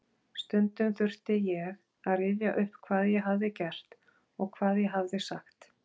Stundum þurfti ég að rifja upp hvað ég hafði gert og hvað ég hafði sagt.